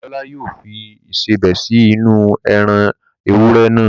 Dámilọ́lá yóò fi Ìṣebẹ̀ sí inú-u ẹran ewúrẹ́ naa